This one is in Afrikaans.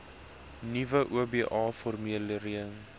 nuwe oba formulering